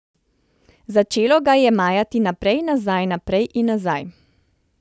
Začelo ga je majati naprej, nazaj, naprej in nazaj.